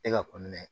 E ka